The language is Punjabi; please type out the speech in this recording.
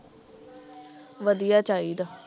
ਵਧੀਆ ਚਾਹੀਦਾ